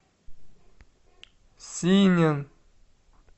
синин